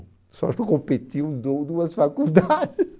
Só que eu competi um du duas faculdades.